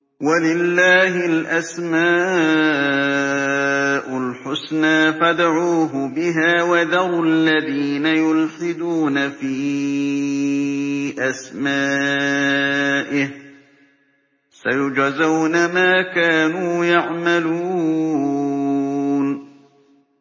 وَلِلَّهِ الْأَسْمَاءُ الْحُسْنَىٰ فَادْعُوهُ بِهَا ۖ وَذَرُوا الَّذِينَ يُلْحِدُونَ فِي أَسْمَائِهِ ۚ سَيُجْزَوْنَ مَا كَانُوا يَعْمَلُونَ